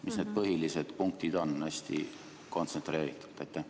Mis on need põhilised punktid, hästi kontsentreeritult?